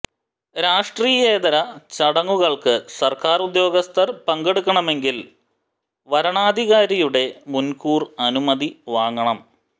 രാഷ്ട്രീയേതര ചടങ്ങുകൾക്ക് സർക്കാർ ഉദ്യോഗസ്ഥർ പങ്കെടുക്കണമെങ്കിൽ വരണാധികാരിയുടെ മുൻകൂർ അനുമതി വാങ്ങണം